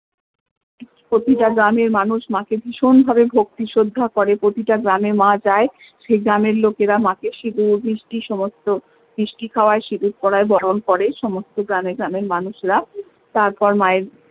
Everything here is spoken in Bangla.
প্রতিটা গ্রামের মানুষ মা কে ভীষণ ভাবে ভক্তি শ্রদ্ধা করে প্রতিটা গ্রামে মা যায় সেই গ্রামের লোকেরা মা কে সিঁদুর মিষ্টি সমস্ত মিষ্টি খাওয়ায় সিঁদুর পরায় বরন করে সমস্ত গ্রামে গ্রামে মানুষরা তারপর মা এর